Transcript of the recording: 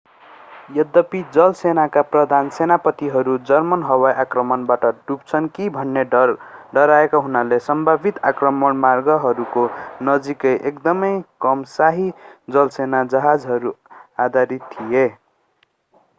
यद्यपि जलसेनाका प्रधान सेनापतिहरू जर्मन हवाई आक्रमणबाट डुब्छन् कि भनी डराएका हुनाले सम्भावित आक्रमण मार्गहरूको नजिकै एकदमै कम शाही जलसेना जहाजहरू आधारित थिए